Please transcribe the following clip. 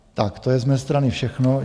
Tak to je z mé strany všechno.